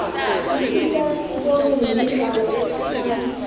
tisita sibone nemidlalo lekhashane